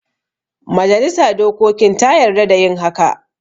Majalisa dokokin ta yarda da yin haka